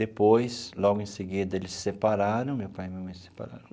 Depois, logo em seguida, eles se separaram, meu pai e minha mãe se separaram.